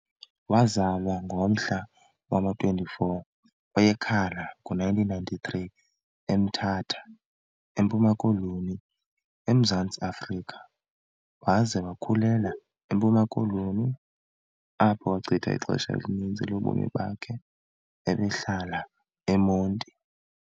Wazalwa ngomhla wama-24 kweyeKhala ngo-1993 eMthatha, eMpuma Koloni, eMzantsi Afrika, waze wakhulela, eMpuma Koloni, apho wachitha ixesha elininzi lobomi bakhe, ebehlala eMonti.